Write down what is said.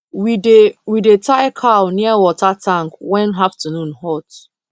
we dey we dey tie cow near water tank when afternoon hot